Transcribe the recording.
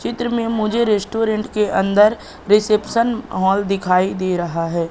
चित्र में मुझे रेस्टोरेंट के अंदर रिसेप्शन हॉल दिखाई दे रहा है।